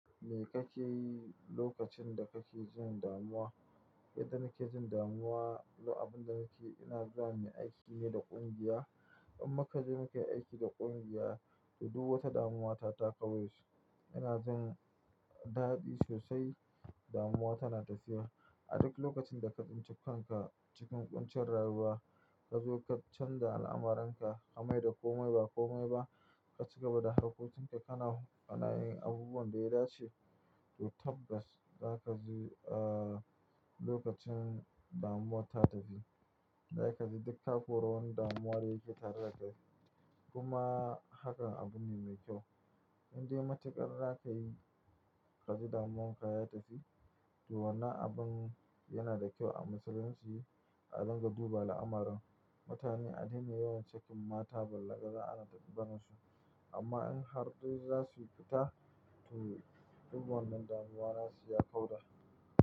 Me kake yi lokacin da kake jin damuwa? Yadda nake jin damuwa, abin da nake, ina zuwa muyi aiki ne da ƙungiya. In muka je muke aiki da ƙungiya, duk wata damuwa ta takau yace. Ina jin daɗi sosai, damuwa tana tafiya. A duk lokacin da ka tsinci kanka cikin ƙuncin rayuwa, ka zo ka canza al'amuranka. Kamai da komai ba komai ba, ka ci gaba da harkokin lka. Kana, kanayin abubuwan da ya dace, to tabbas za ka ji, uh, lokacin damuwa ta tafi. Za ka ji duk ko ra wani damuwa da yake tare da kai. Kuma hakan abu ne mai kyau. Indai matuƙar za ka yi, ka ji damuwan ka ya tafi. To wannan abun yana da kyau a musulunci. A ringa duba al'amarin, mutane a dena yawan sakin mata, ballagaza ana tafi abar su. Amma in har dai za su yi fita, to duk wannan damuwa na su ya kauda.